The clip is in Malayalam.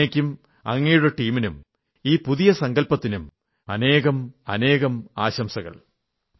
അങ്ങയ്ക്കും അങ്ങയുടെ ടീമിനും ഈ പുതിയ സങ്കല്പത്തിനും അനേകാനേകം ആശംസകൾ